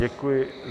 Děkuji.